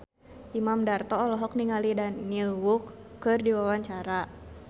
Imam Darto olohok ningali Daniel Wu keur diwawancara